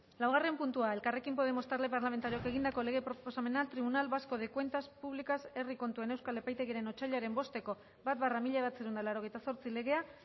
laugarren puntua elkarrekin podemos talde parlamentarioak egindako lege proposamena tribunal vasco de cuentas públicas herri kontuen euskal epaitegiaren otsailaren bosteko bat barra mila bederatziehun eta laurogeita zortzi legea